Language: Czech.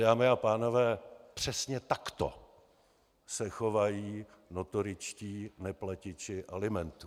Dámy a pánové, přesně takto se chovají notoričtí neplatiči alimentů.